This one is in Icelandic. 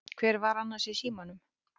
Hver var annars í símanum?